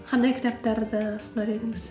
қандай кітаптарды ұсынар едіңіз